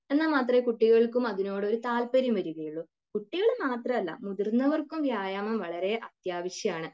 എന്നാൽ മാത്രമേ കുട്ടികൾക്കും അതിനോടൊരു താല്പര്യം വരികയുള്ളു. കുട്ടികൾ മാത്രല്ല മുതിർന്നവർക്കും വ്യായാമം വളരെ അത്യാവശ്യമാണ്.